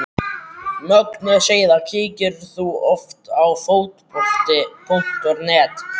Mögnuð síða Kíkir þú oft á Fótbolti.net?